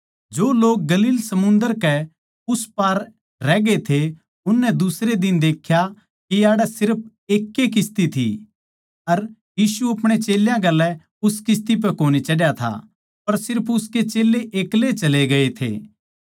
जो लोग गलील समुन्दर के उस पार रहगे थे उननै दुसरे दिन देख्या के याड़ै सिर्फ एक ए किस्ती थी अर यीशु अपणे चेल्यां गेल्या उस किस्ती पै कोनी चढ़या था पर सिर्फ उसके चेल्लें ऐकले ए चले गए थे